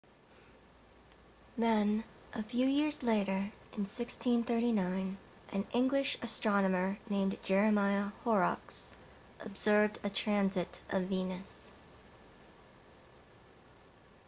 then a few years later in 1639 an english astronomer named jeremiah horrocks observed a transit of venus